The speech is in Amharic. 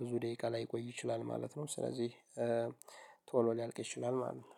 ብዙ ደቂቃ ላይቆይ ይችላል ማለት ነው። ስለዚህ ቶሎ ሊያልቅ ይችላል ማለት ነው።